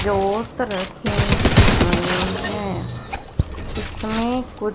जोत रखी हुई हैं इसमें कुछ--